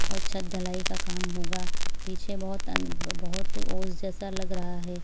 और छत ढलाई का का काम होगा पीछे बहुत अं बहुत ओस जैसा लग रहा है।